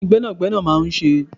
Kini Gbẹ́nàgbẹ́nà máa ń ṣe?